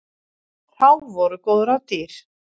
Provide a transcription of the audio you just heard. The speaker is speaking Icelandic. Þá voru góð ráð dýr!